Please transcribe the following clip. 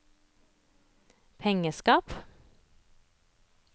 pengeskap